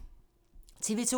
TV 2